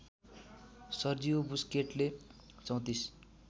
Sergio बुस्केटले ३४